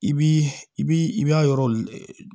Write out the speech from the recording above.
I bi i bi i b'a yɔrɔ